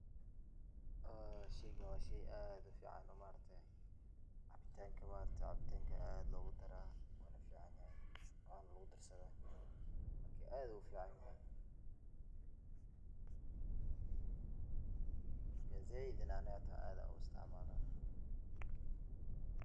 Ee sheygan waa shey aad u fiican oo maaragte ,cabitaanka maaragte ,cabitaanka aad loogu daraa ,marka aad uu u fiican yahay ,marka zaaid na ani xitaa aad aan u isticmalaa.